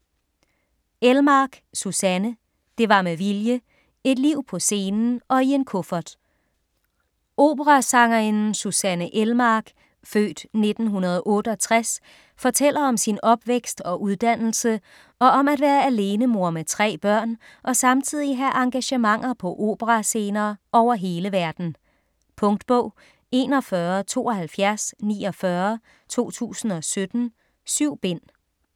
Elmark, Susanne: Det var med vilje: et liv på scenen og i en kuffert Operasangerinden Susanne Elmark (f. 1968) fortæller om sin opvækst og uddannelse, og om at være alenemor med tre børn og samtidig have engagementer på operascener over hele verden. Punktbog 417249 2017. 7 bind.